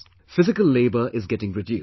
Physical labour is getting reduced